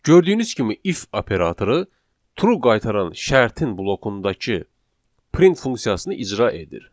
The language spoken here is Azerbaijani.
Gördüyünüz kimi if operatoru true qaytaran şərtin blokundakı print funksiyasını icra edir.